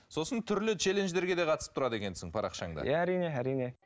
сосын түрлі челендждерге де қатысып тұрады екенсің парақшаңда иә әрине әрине